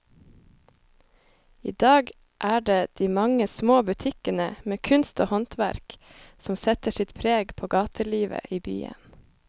I dag er det de mange små butikkene med kunst og håndverk som setter sitt preg på gatelivet i byen.